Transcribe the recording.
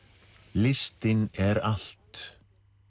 listin er allt